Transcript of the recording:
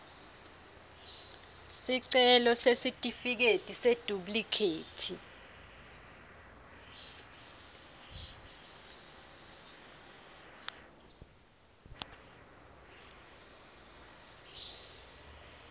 sicelo sesitifiketi seduplikhethi